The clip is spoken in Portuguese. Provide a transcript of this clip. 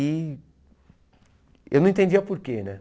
E eu não entendia por quê, né?